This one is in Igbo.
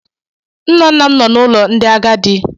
Nna nna m nọ na ụlọ ndị agadi.